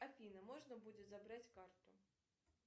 афина можно будет забрать карту